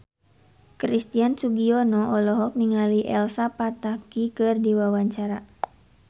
Christian Sugiono olohok ningali Elsa Pataky keur diwawancara